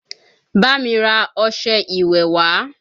Bá mi ra ọșẹ ìwẹ̀ wá!